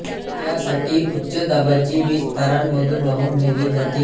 त्यासाठी उच्च दाबाची वीज तारांमधून वाहून नेली जाते